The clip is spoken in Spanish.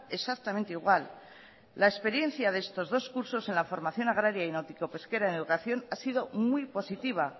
exactamente igual la experiencia en estos dos cursos en la formación agraria y náutico pesquera en educación ha sido muy positiva